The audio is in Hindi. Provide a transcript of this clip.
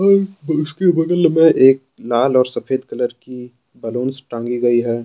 इसके बगल में एक लाल और सफेद कलर की बलूंस टांगी गई हैं।